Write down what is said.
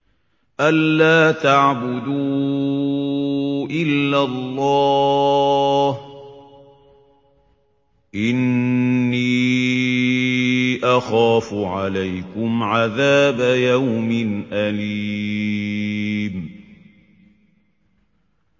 أَن لَّا تَعْبُدُوا إِلَّا اللَّهَ ۖ إِنِّي أَخَافُ عَلَيْكُمْ عَذَابَ يَوْمٍ أَلِيمٍ